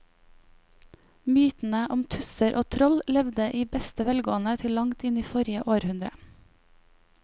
Mytene om tusser og troll levde i beste velgående til langt inn i forrige århundre.